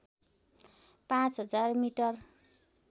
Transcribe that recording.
पाँच हजार मिटर